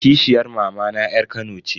Kishiyar mamana yar kano ce.